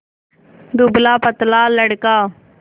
दुबलापतला लड़का